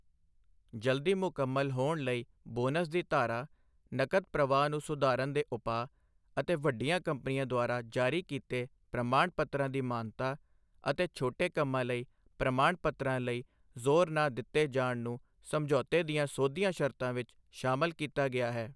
ਜਲਦੀ ਮੁਕੰਮਲ ਹੋਣ ਲਈ ਬੋਨਸ ਦੀ ਧਾਰਾ, ਨਕਦ ਪ੍ਰਵਾਹ ਨੂੰ ਸੁਧਾਰਨ ਦੇ ਉਪਾਅ ਅਤੇ ਵੱਡੀਆਂ ਕੰਪਨੀਆਂ ਦੁਆਰਾ ਜਾਰੀ ਕੀਤੇ ਪ੍ਰਮਾਣ ਪੱਤਰਾਂ ਦੀ ਮਾਨਤਾ ਅਤੇ ਛੋਟੇ ਕੰਮਾਂ ਲਈ ਪ੍ਰਮਾਣ ਪੱਤਰਾਂ ਲਈ ਜ਼ੋਰ ਨਾ ਦਿੱਤੇ ਜਾਣ ਨੂੰ ਸਮਝੌਤੇ ਦੀਆਂ ਸੋਧੀਆਂ ਸ਼ਰਤਾਂ ਵਿੱਚ ਸ਼ਾਮਲ ਕੀਤਾ ਗਿਆ ਹੈ।